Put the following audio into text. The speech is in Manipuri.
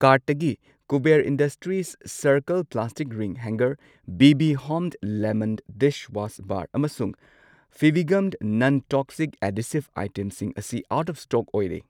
ꯀꯥꯔꯠꯇꯒꯤ Kuber industries circle plastic ring hanger, B B home lemon dishwash bar ꯑꯃꯁꯨꯡ ꯐꯦꯕꯤꯒꯝ ꯅꯟ ꯇꯣꯛꯁꯤꯛ ꯑꯦꯙꯤꯁꯤꯕ ꯑꯩꯇꯦꯝꯁꯤꯡ ꯑꯁꯤ ꯑꯥꯎꯠ ꯑꯣꯐ ꯁ꯭ꯇꯣꯛ ꯑꯣꯏꯔꯦ꯫